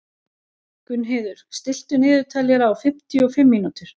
Gunnheiður, stilltu niðurteljara á fimmtíu og fimm mínútur.